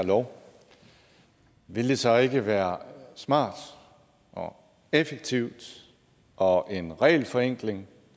lov ville det så ikke være smart og effektivt og en regelforenkling